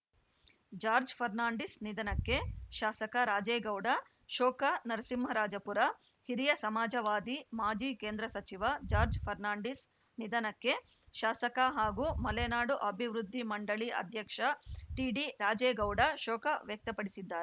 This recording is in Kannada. ಜಾರ್ಜ್ ಫರ್ನಾಂಡಿಸ್‌ ನಿಧನಕ್ಕೆ ಶಾಸಕ ರಾಜೇಗೌಡ ಶೋಕ ನರಸಿಂಹರಾಜಪುರ ಹಿರಿಯ ಸಮಾಜವಾದಿ ಮಾಜಿ ಕೇಂದ್ರ ಸಚಿವ ಜಾರ್ಜ್ ಫರ್ನಾಂಡೀಸ್‌ ನಿಧನಕ್ಕೆ ಶಾಸಕ ಹಾಗೂ ಮಲೆನಾಡು ಅಭಿವೃದ್ಧಿ ಮಂಡಳಿ ಅಧ್ಯಕ್ಷ ಟಿಡಿ ರಾಜೇಗೌಡ ಶೋಕ ವ್ಯಕ್ತಪಡಿಸಿದ್ದಾ